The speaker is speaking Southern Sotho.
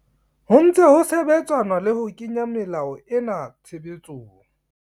Ho ntse ho sebetsanwa le ho kenya melao ena tshebetsong.